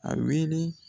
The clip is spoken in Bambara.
A wele